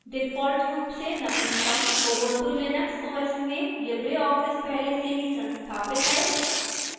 default रूप से नवीनतम ubuntu linux os में libreoffice पहले से ही संस्थापित है